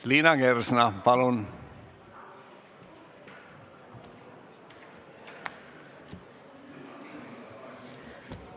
Liina Kersna, palun!